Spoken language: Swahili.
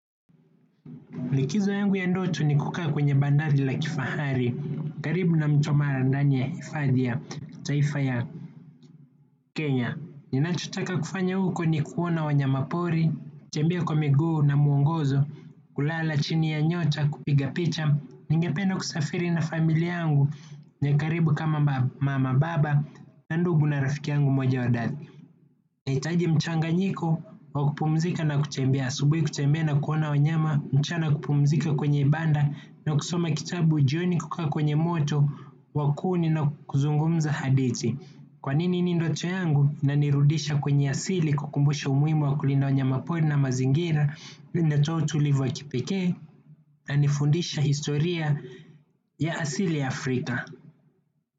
Likizo yangu ya ndoto ni kukaa kwenye bandali la kifahari, karibu na mto mara ndani ya hifadhi ya kitaifa ya Kenya. Ninachotaka kufanya huko ni kuona wanyamapori, tembea kwa miguu na mwongozo, kulala chini ya nyota kupiga picha, ningepena kusafiri na familia yangu, ya karibu kama mama baba, na ndugu na rafiki yangu moja wa dhati. Nahitaji mchanganyiko, wa kupumzika na kutembea, asubuhi kutembea na kuona wanyama, mchana kupumzika kwenye banda, na kusoma kitabu jioni kukaa kwenye moto, wa kuni na kuzungumza hadithi. Kwanini ni ndoto yangu, inanirudisha kwenye asili kukumbusha umuhimu wa kulinda wanyamapori na mazingira, linatoa utulivu wa kipekee, na inanifundisha historia ya asili ya Afrika.